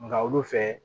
Nka olu fɛ